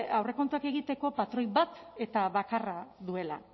aurrekontuak egiteko patroi bat eta bakarra duela